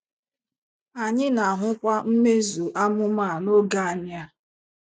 Anyị na - ahụkwa mmezu amụma a n’oge anyị a.